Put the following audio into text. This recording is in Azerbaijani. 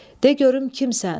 De görüm kimsən?